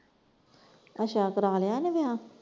ਅੱਛਾ ਕਰਾਇਆ ਲਿਆ ਇਹਨੇ ਵਿਆਹ।